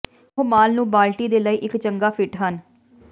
ਉਹ ਮਾਲ ਨੂੰ ਬਾਲਟੀ ਦੇ ਲਈ ਇੱਕ ਚੰਗਾ ਫਿੱਟ ਹਨ